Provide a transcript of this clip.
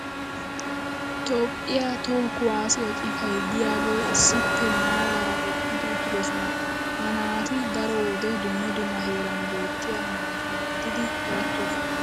toophphiya toho kuwaassiya citay diyaagee issippe maaraara eqqidi uttidosona. ha naati daro wode dumma dumma heeran beettiya naata gididdi eretoosona.